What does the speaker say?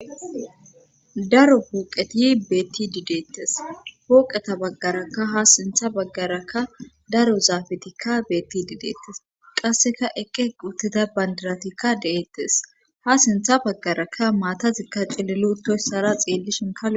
Daro pooqetiyi beetti dideettes pooqeta baggarakka ha sintha baggarakka daro zaafetikka beetti dideettes qasseka eqqe quttida bandiratikka de7eettes ha sintha baggarakka maatazikka cillilutoyssara xiellishin kalo.